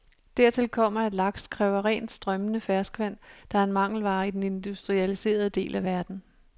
Dertil kommer, at laks kræver rent strømmende ferskvand, der er en mangelvare i den industrialiserede del af verden.